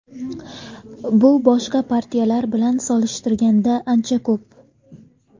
Bu boshqa partiyalar bilan solishtirganda ancha ko‘p.